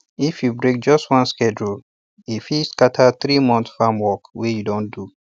if you break just one sacred rule e fit scatter three months farm work wey you don do